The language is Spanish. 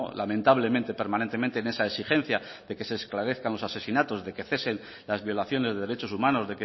lamentablemente permanentemente en esa exigencia de que se esclarezcan los asesinatos de que cesen las violaciones de derechos humanos